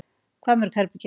Hvað mörg herbergi?